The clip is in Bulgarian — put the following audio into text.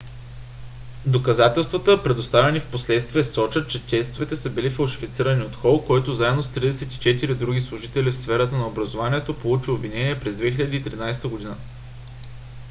доказателствата предоставени впоследствие сочат че тестовете са били фалшифицирани от хол който заедно с 34 други служители в сферата на образованието получи обвинение през 2013 година